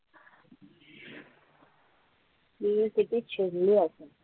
ती किती चिडली असेल.